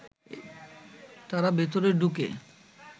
তারা ভেতরে ঢুকে